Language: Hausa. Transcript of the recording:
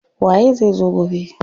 Waye zai zo gobe?